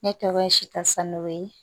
Ne tɔgɔ ye sitan san goyin